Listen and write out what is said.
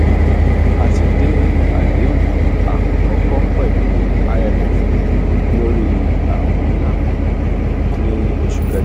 a ti de adehun akọkọ pẹlu imf lori awin nla kan ni oṣu kẹjọ.